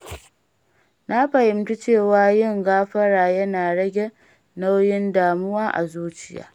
Na fahimci cewa yin gafara yana rage nauyin damuwa a zuciya.